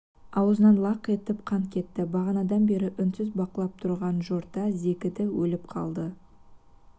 аузынан лақ етіп қан кетті бағанадан бері үнсіз бақылап тұрған жорта зекіді өліп қалды